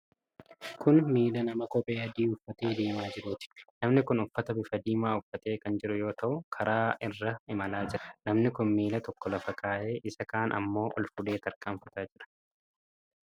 Kun miila nama kophee adii uffatee deemaa jiruuti. namni kun uffata bifa diimaa uffatee kan jiru yoo ta'u, karaa irra imalaa jira. Namni kun miila tokko lafa kaa'ee isaa kaan ammoo ol fuudhee tarkaanfataa jira.